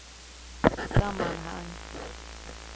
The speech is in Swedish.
sammanhang